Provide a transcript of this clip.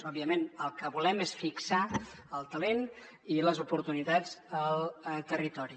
òbviament el que volem és fixar el talent i les oportunitats al territori